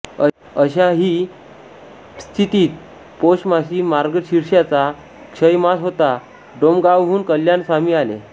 अशाही स्थितीत पौषमासी मार्गशीर्षाचा क्षयमास होता डोमगावहून कल्याण स्वामी आले